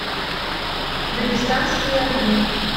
дагестанские огни